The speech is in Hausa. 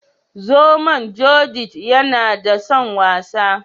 Zomon " Judith " yana da son wasa.